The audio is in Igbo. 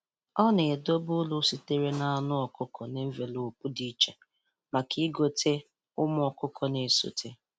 Ọ na-edobe uru sitere n’anụ ọkụkọ na envelopu dị iche maka ịgote ụmụ ọkụkọ na-esote.